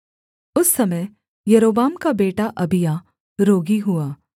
उस समय यारोबाम का बेटा अबिय्याह रोगी हुआ